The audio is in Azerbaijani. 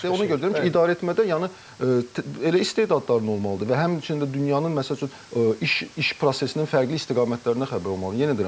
Ona görə deyirəm ki, idarə etmədə yəni elə istedadların olmalıdır və həmçinin də dünyanın məsəl üçün iş iş prosesinin fərqli istiqamətlərindən xəbər olmalıdır.